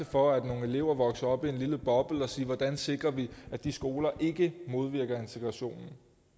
for at nogle elever vokser op i en lille og at sikre at de skoler ikke modvirker integrationen